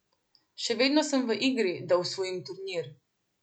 Še vedno sem v igri, da osvojim turnir.